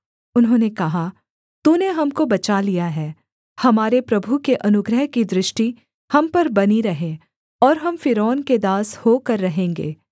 उन्होंने कहा तूने हमको बचा लिया है हमारे प्रभु के अनुग्रह की दृष्टि हम पर बनी रहे और हम फ़िरौन के दास होकर रहेंगे